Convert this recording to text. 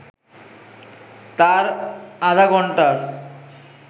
তার আধঘন্টার